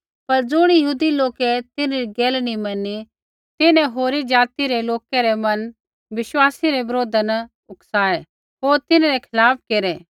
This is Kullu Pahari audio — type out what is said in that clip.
पर ज़ुणी यहूदी लोकै तिन्हरी गैला नी मैनी तिन्हैं होरी ज़ाति रै लोकै रै मन बिश्वासी रै बरोधा न उकसाऐ होर तिन्हरै खिलाफ़ केरै